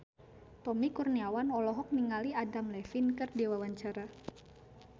Tommy Kurniawan olohok ningali Adam Levine keur diwawancara